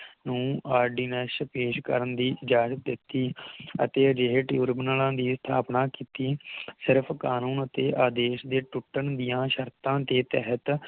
ਨੂੰ ordinance ਪੇਸ਼ ਕਰਨ ਦੀ ਇਜਾਜ਼ਤ ਦਿਤੀ ਅਤੇ ਅਜਿਹੇ ਟਿਊਰਬਨਲਾ ਦੀ ਸਥਾਪਨਾ ਕੀਤੀ ਸਿਰਫ ਕਾਨੂੰਨ ਅਤੇ ਆਦੇਸ਼ ਦੇ ਟੁੱਟਣ ਦੀਆ ਸ਼ਰਤਾਂ ਦੇ ਤਹਿਤ